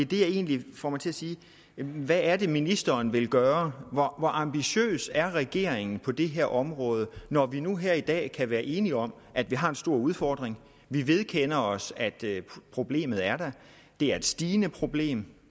der egentlig får mig til at sige hvad er det ministeren vil gøre hvor ambitiøs er regeringen på det her område når vi nu her i dag kan være enige om at vi har en stor udfordring vi vedkender os at problemet er der det er et stigende problem